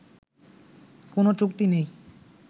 কোন চুক্তি নেই